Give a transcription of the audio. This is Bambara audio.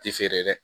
Ti feere dɛ